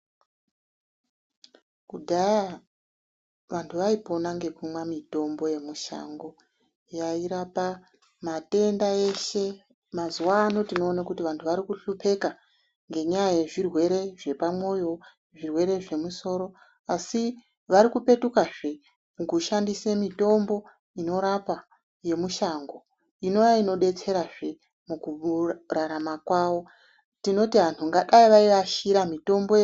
Kudhaya vantu vaipona ngekumwa mitombo yemushango yairapa matenda eshe. Mazuvaano tinoona kuti vantu vari kuhlupeka, ngenyaya yezvirwere zvepamwoyo, zvirwere zvemusoro asi vari kupetukazve kushandisa mitombo inorapa yemushango Inova inodetserazve mukurarama kwavo, tinoti vantu kudai vayiashira mitombo.